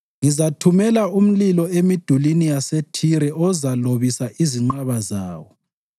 ngizathumela umlilo emidulini yaseThire ozalobisa izinqaba zayo.”